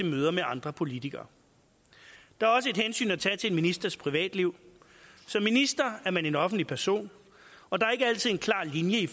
møder med andre politikere der er også et hensyn at tage til en ministers privatliv som minister er man en offentlig person og der er ikke altid en klar linje